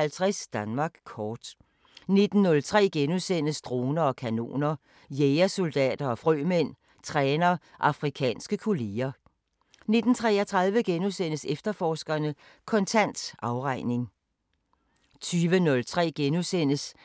20:03: